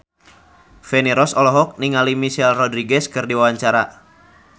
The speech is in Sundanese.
Feni Rose olohok ningali Michelle Rodriguez keur diwawancara